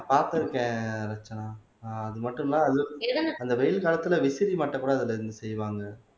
பாத்திருக்கேன் ரட்சனா ஆஹ் அது மட்டும் இல்ல அந்த வெயில் காலத்துல விசிறி மட்டும் கூட அதுல இருந்து செய்வாங்க